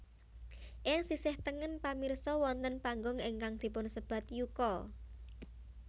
Ing sisih tengen pamirsa wonten panggung ingkang dipunsebat yuka